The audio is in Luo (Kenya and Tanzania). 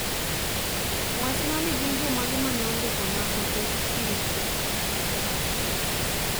Wachna ni gin jomage mane ondiko na ote mbi